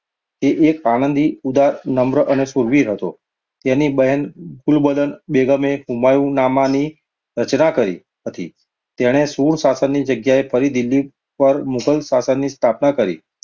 તે એક આનંદી, ઉદાર, નમ્ર અને શૂરવીર હતો. તેની બહેન ગુલબદન બેગમે હુમાયુનામા ની રચના કરી હતી. તેણે સૂર શાસનની જગ્યાએ ફરી દિલ્હી પર મુઘલ શાસનની સ્થાપના કરી.